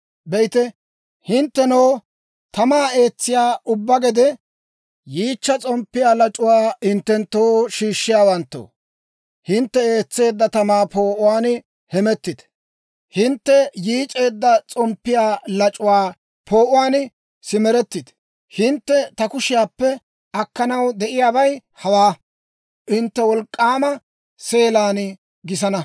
Be'ite, hinttenoo tamaa eetsiyaa ubbaa gede, yiichcha s'omppiyaa lac'uwaa hinttenttoo shiishshiyaawanttoo, hintte eetseedda tamaa poo'uwaan hemettite! Hintte yiic'eedda s'omppiyaa lac'uwaa poo'uwaan simerettite! Hintte ta kushiyaappe akkanaw de'iyaabay hawaa: Hintte wolk'k'aama seelaan gisana.